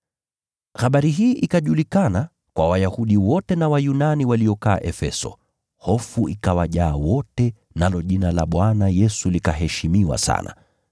Habari hii ikajulikana kwa Wayahudi wote na Wayunani waliokaa Efeso, hofu ikawajaa wote, nalo jina la Bwana Yesu likaheshimiwa sana.